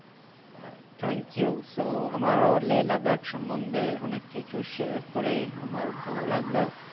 ah thank you so Leh Ladakh সমন্ধে অনেক কিছু share আমার ভালো লাগলো